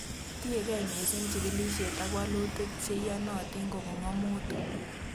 Tiekei missing jikilisiet ak walutik che iyonotin kobun ng'omutik